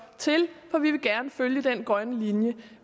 til for vi vil gerne følge den grønne linje